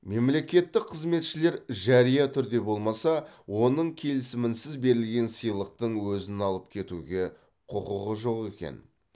мемлекеттік қызметшілер жария түрде болмаса оның келісімінсіз берілген сыйлықтың өзін алып кетуге құқығы жоқ екен